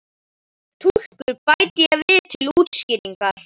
Ég er túlkur bæti ég við til útskýringar.